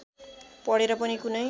पढेर पनि कुनै